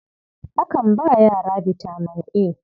Akan ba yara bitaman A.